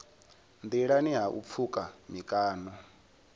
nḓilani ha u pfuka mikano